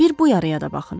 Bir bu yaraya da baxın.